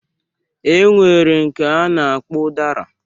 E nwere nke a na-akpọ ụdara